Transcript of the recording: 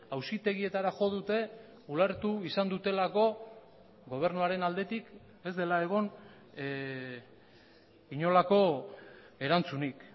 auzitegietara jo dute ulertu izan dutelako gobernuaren aldetik ez dela egon inolako erantzunik